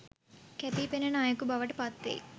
කැපී පෙනන අයෙකු බවට පත්වෙයි